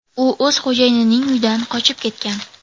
U o‘z xo‘jayinining uyidan qochib ketgan.